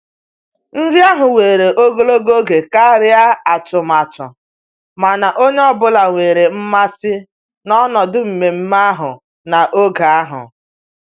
Nri ahụ were ogologo oge karịa atụmatụ, mana onye ọ bụla nwere mmasị n'ọnọdụ mmemme ahụ na'oge ahụ